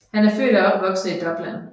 Han er født og opvokset i Dublin